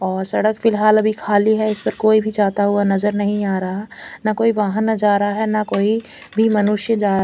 और सड़क फ़िलहाल अभी खाली है इस पर कोई भी जाता हुआ नज़र नही आ रहा ना कोई वाहन जारा है ना कोई भी मनुष्य जा--